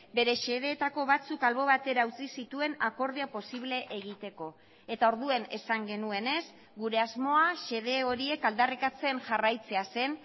bere xedeetako batzuk albo batera utzi zituen akordioa posible egiteko eta orduan esan genuenez gure asmoa xede horiek aldarrikatzen jarraitzea zen